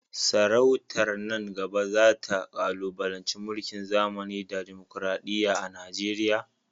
Sarautar nan gaba za ta kalubalanci mulkin zamani da dimokuradiyya a Najeriya.